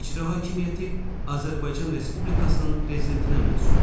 İcra hakimiyyəti Azərbaycan Respublikasının Prezidentinə məxsusdur.